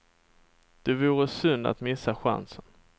Det vore synd att missa chansen.